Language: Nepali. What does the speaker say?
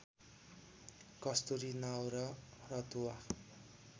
कस्तुरी नाउर रतुवा